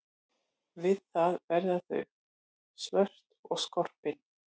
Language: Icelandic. Við það verða þau svört og skorpin.